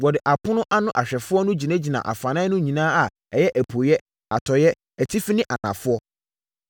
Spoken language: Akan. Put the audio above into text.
Wɔde apono ano ahwɛfoɔ no gyinagyinaa afanan no nyinaa a ɛyɛ apueeɛ, atɔeɛ, atifi ne anafoɔ.